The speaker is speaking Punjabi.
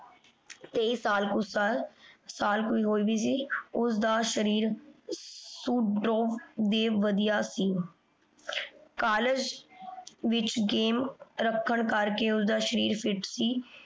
ਓਸਦਾ ਸ਼ਰੀਰ ਸੁਡੋਲ ਤੇ ਵਧੀਆ ਸੀ। college ਵਿਚ game ਰਖਣ ਕਰ ਕੇ ਓਸਦਾ ਸ਼ਰੀਰ fit ਸੀ